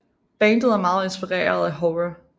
Bandet er meget inspireret af horror